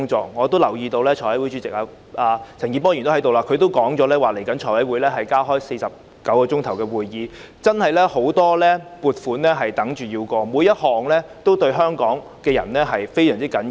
陳健波議員也在席，他已表示財務委員會將加開49小時的會議，因為有很多撥款項目有待審議，全部也對香港人非常重要。